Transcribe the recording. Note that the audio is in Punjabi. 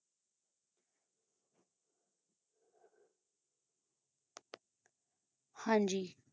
ਹਾਂ ਜੀ